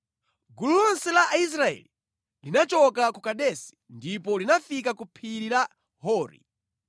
Gulu lonse la Aisraeli linachoka ku Kadesi ndipo linafika ku phiri la Hori.